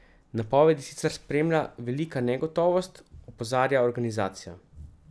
Napovedi sicer spremlja velika negotovost, opozarja organizacija.